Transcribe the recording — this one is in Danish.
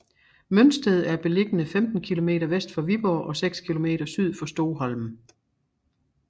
Mønsted er beliggende 15 kilometer vest for Viborg og seks kilometer syd for Stoholm